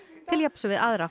til jafns við aðra